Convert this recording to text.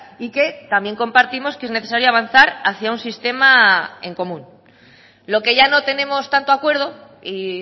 y que también compartimos que es necesario avanzar hacia un sistema en común lo que ya no tenemos tanto acuerdo y